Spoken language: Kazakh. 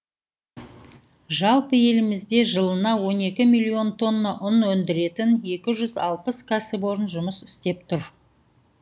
жалпы елімізде жылына он екі миллион тонна ұн өндіретін екі жүз алпыс кәсіпорын жұмыс істеп тұр